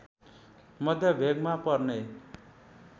मध्य भेगमा पर्ने